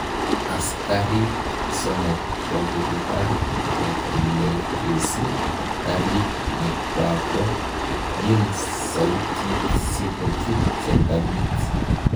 Askarik somok kokokipar kokotelesi garit nekwako yin sautit si kochut serkalit.